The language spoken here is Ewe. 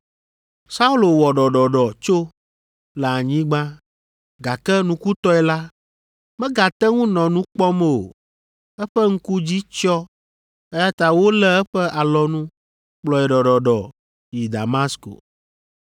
Saulo wɔ ɖɔɖɔɖɔ tso le anyigba, gake nukutɔe la, megate ŋu nɔ nu kpɔm o; eƒe ŋku dzi tsyɔ eya ta wolé eƒe alɔnu kplɔe ɖɔɖɔɖɔ yi Damasko.